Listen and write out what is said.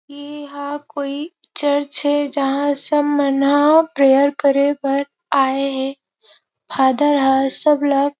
इहा कोई चर्च हे जेहा सब मन ह प्रेयर करे बर आये हे फादर ह सबला --